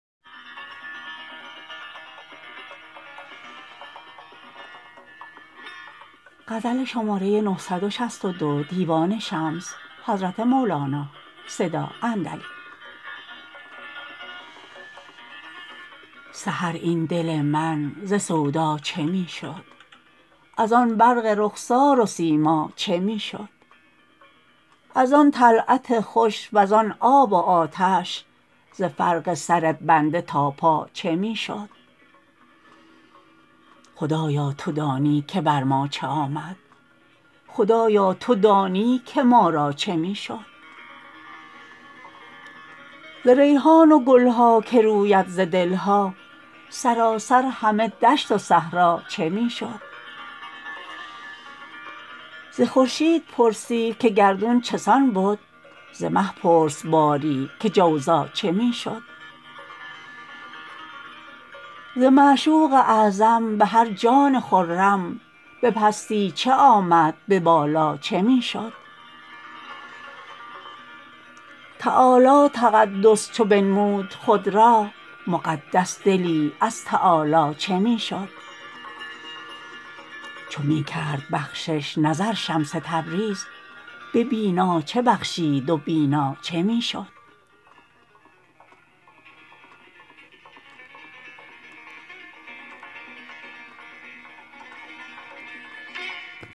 سحر این دل من ز سودا چه می شد از آن برق رخسار و سیما چه می شد از آن طلعت خوش و زان آب و آتش ز فرق سر بنده تا پا چه می شد خدایا تو دانی که بر ما چه آمد خدایا تو دانی که ما را چه می شد ز ریحان و گل ها که روید ز دل ها سراسر همه دشت و صحرا چه می شد ز خورشید پرسی که گردون چه سان بد ز مه پرس باری که جوزا چه می شد ز معشوق اعظم به هر جان خرم به پستی چه آمد به بالا چه می شد تعالی تقدس چو بنمود خود را مقدس دلی از تعالی چه می شد چو می کرد بخشش نظر شمس تبریز به بینا چه بخشید و بینا چه می شد